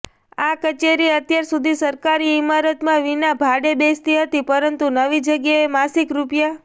આ કચેરી અત્યાર સુધી સરકારી ઈમારતમાં વિના ભાડે બેસતી હતી પરંતુ નવી જગ્યાએ માસિક રૂ